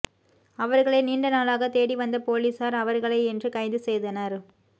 அவர்களை நீண்ட நாளாக தேடி வந்த போலீசார் அவர்களை இன்று கைதுசெய்தனர்